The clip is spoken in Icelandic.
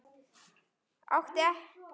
Átti ekki til orð.